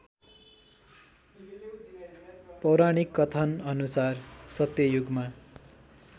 पौराणिक कथनअनुसार सत्ययुगमा